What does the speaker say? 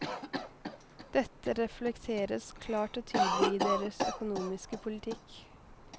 Dette reflekteres klart og tydelig i deres økonomiske politikk.